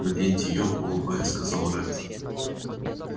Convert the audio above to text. наденьте её улыбаясь сказал ретт